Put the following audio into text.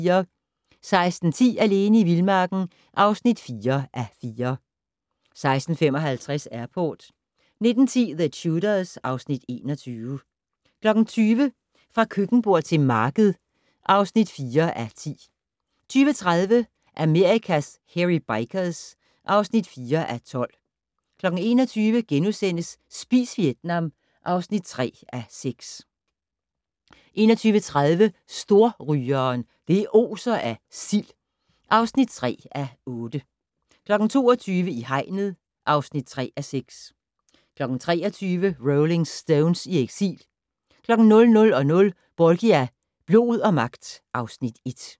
16:10: Alene i vildmarken (4:4) 16:55: Airport 19:10: The Tudors (Afs. 21) 20:00: Fra køkkenbord til marked (4:10) 20:30: Amerikas Hairy Bikers (4:12) 21:00: Spis Vietnam (3:6)* 21:30: Storrygeren - det oser af sild (3:8) 22:00: I hegnet (3:6) 23:00: Rolling Stones i eksil 00:00: Borgia - blod og magt (Afs. 1)